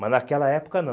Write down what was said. Mas naquela época não.